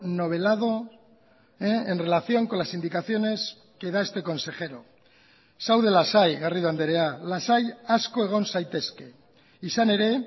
novelado en relación con las indicaciones que da este consejero zaude lasai garrido andrea lasai asko egon zaitezke izan ere